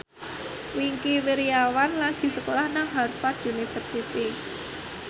Wingky Wiryawan lagi sekolah nang Harvard university